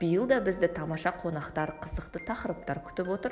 биыл да бізді тамаша қонақтар қызықты тақырыптар күтіп отыр